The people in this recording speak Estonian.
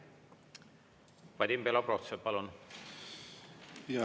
Vadim Belobrovtsev, palun!